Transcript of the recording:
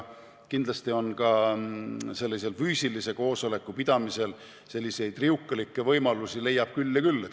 Kindlasti ka füüsilise koosoleku pidamisel on riukalikke võimalusi küll ja küll.